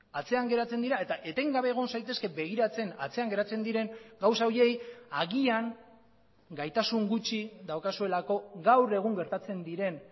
atzean geratzen dira eta etengabe egon zaitezke begiratzen atzean geratzen diren gauza horiei agian gaitasun gutxi daukazuelako gaur egun gertatzen diren